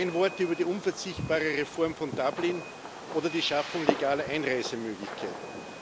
Kein Wort über die unverzichtbare Reform von Dublin oder die Schaffung legaler Einreisemöglichkeiten.